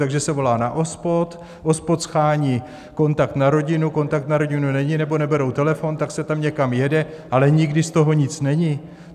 Takže se volá na OSPOD, OSPOD shání kontakt na rodinu, kontakt na rodinu není nebo neberou telefon, tak se tam někam jede, ale nikdy z toho nic není.